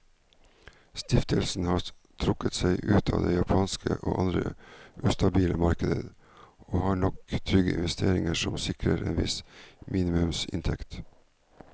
Stiftelsen har trukket seg ut av det japanske og andre ustabile markeder, og har nok trygge investeringer som sikrer en viss minimumsinntekt.